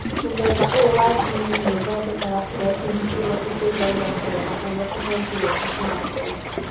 Mũthemba ũyũ wa gene nĩ ũthondekaga protein ĩrĩa ĩteithagia kũrora ũrĩa tũhengereta tũrakũra.